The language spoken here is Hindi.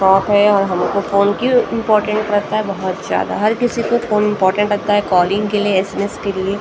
और हमको फ़ोन क्यों इंपोर्टेंट लगता है बहुत ज्यादा हर किसी को फोन इम्पोर्टेंट लगता है कॉलिंग के लिए एस_एम_एस के लिए --